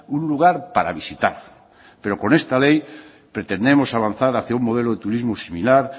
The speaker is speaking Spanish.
un lugar para visitar pero con esta ley pretendemos avanzar hacía un modelo de turismo similar